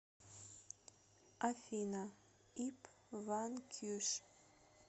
афина ип ванкьюш